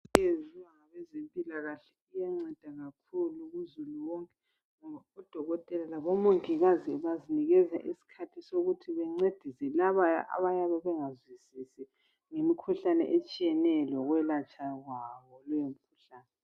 Into eyenziwa ngabezempilakahle iyanceda kakhulu uzulu wonke ngoba odokotela labomongikazi bazinika isikhathi sokuthi bancedise labo abayabe bengazwisisi ngemikhuhlane etshiyeneyo lokwelatshwa kwayo.